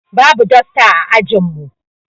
Babu dosta ã ajin mu.